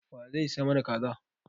Wa zai sai mana Kaza.